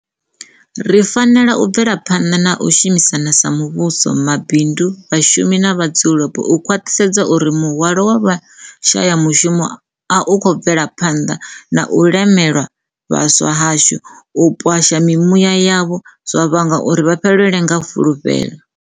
Ri fanela u bvela phanḓa na u shumisana sa muvhuso, mabindu, vhashumi na vhadzulapo u khwaṱhisedza uri muhwalo wa vhushayamushumo a u khou bvela phanḓa na u lemela vha swa vhashu, u pwasha mimuya yavho, zwa vhanga uri vha fhelelwe nga fulufhelo.